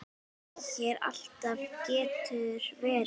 Þú segir alltaf getur verið!